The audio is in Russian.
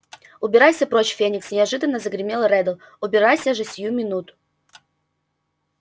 убирайся прочь феникс неожиданно загремел реддл убирайся же сию минуту